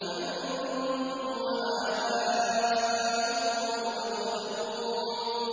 أَنتُمْ وَآبَاؤُكُمُ الْأَقْدَمُونَ